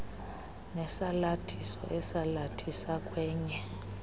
nesalathiso esalathisa kwenye